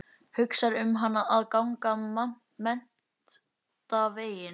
Hugsar um hana að ganga menntaveginn.